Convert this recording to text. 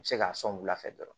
U bɛ se k'a sɔn wulafɛ